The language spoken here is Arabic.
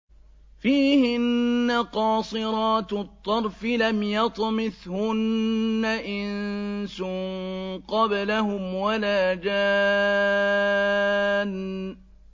فِيهِنَّ قَاصِرَاتُ الطَّرْفِ لَمْ يَطْمِثْهُنَّ إِنسٌ قَبْلَهُمْ وَلَا جَانٌّ